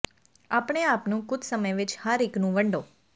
ਆਪਣੇ ਆਪ ਨੂੰ ਕੁਝ ਸਮੇਂ ਵਿੱਚ ਹਰ ਇੱਕ ਨੂੰ ਵੰਡੋ